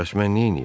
Bəs mən neyniyim?